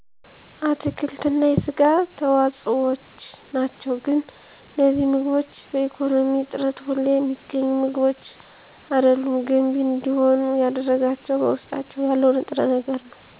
አትክልት እና የስጋ ተዋፆዎችናቸው ግን እነዚህ ምግቦች በኢኮነሚ እጥረት ሁሌ ሚገኙ ምግቦች አደሉም ገንቢ እንዲሆኑ ያደረጋቸው በውስጣቸው ያለው ንጥረ ነገር ነው